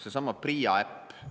Seesama PRIA äpp.